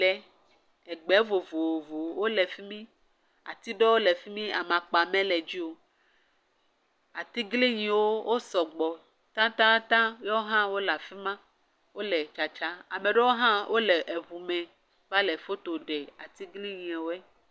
Ɖe. Egbe vovovowo le fi mi. Ati ɖewo le fi mi. Amakpa mele dzi o. Atiglinyiwo, wo sɔgbɔ tatataŋ, yewo hã wole afi ma. Wole tatsa. Ame ɖewo hã wole eŋume. Va le foto ɖe atiglinyiɛwoe.